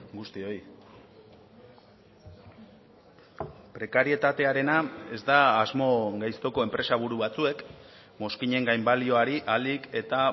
guztioi prekarietatearena ez da asmo gaiztoko enpresaburu batzuek mozkinen gainbalioari ahalik eta